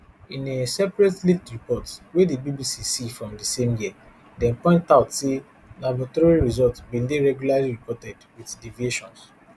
in a separate leaked report wey di bbc see from di same year dem point out say laboratory results bin dey regularly reported wit deviations